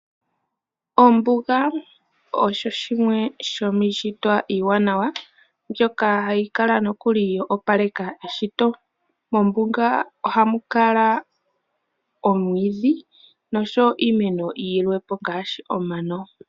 Ombuga osho shimwe shomiishitwa iiwanawa mbyoka hayi kala nokuli yo opaleka eshito. Mombuga ohamu kala omwiidhi noshowo iimeno yilwe po ngaashi omano.